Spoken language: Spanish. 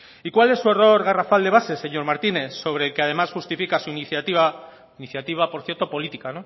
y cuál es su error garrafal de base señor martínez sobre el que además justifica su iniciativa iniciativa por cierto política